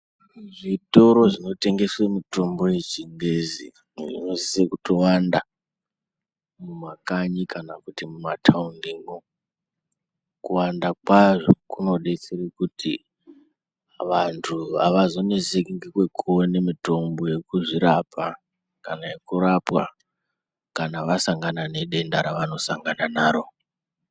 Zvitoro zvinotengese mitombo yeChiNgezi zvinosise kutowanda mumakanyi kana kuti mumataundimwo. Kuwanda kwazvo kunodetsere kuti vantu havazoneseki ngekwekuone mutombo yekuzvirapa kana yekurapwa kana vasangana nedenda ravanosangana naro.